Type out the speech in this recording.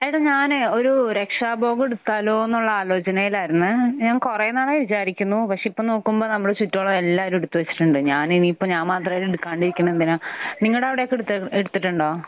എടാ, ഞാനേ ഒരു രക്ഷാ ഉപവ് എടുത്താലോ എന്നുള്ള ആലോചനയിലായിരുന്നെ. ഞാൻ കുറെ നാളായി വിചാരിക്കുന്നു. പക്ഷെ ഇപ്പോൾ നോക്കുമ്പോൾ നമ്മുടെ ചുറ്റുമുള്ള എല്ലാവരും എടുത്ത് വച്ചിട്ടുണ്ട്. ഞാൻ ഇനിയിപ്പോൾ ഞാൻ മാത്രം ആയിട്ട് എടുക്കാണ്ടിരിക്കുന്നത് എന്തിനാ? നിങ്ങളുടെ അവിടെയൊക്കെ എടുത്ത് എടുത്തിട്ടുണ്ടോ?